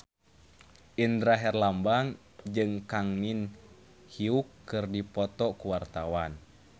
Indra Herlambang jeung Kang Min Hyuk keur dipoto ku wartawan